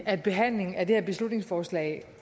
at behandlingen af det her beslutningsforslag